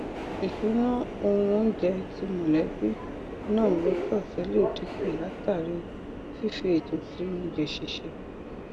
ìṣúná ohun oúnjẹ ti mọlẹbí náà lọsọọsẹ lè dínkù látàrí fífi ètò sí oúnjẹ sísè